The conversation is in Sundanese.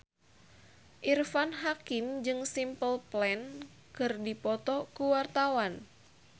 Irfan Hakim jeung Simple Plan keur dipoto ku wartawan